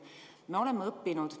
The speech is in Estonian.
Me oleme õppinud.